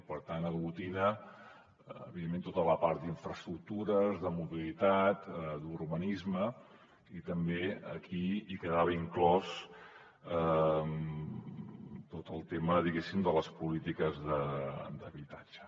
per tant aglutina evidentment tota la part d’infraestructures de mobilitat d’urbanisme i també aquí hi quedava inclòs tot el tema diguéssim de les polítiques d’habitatge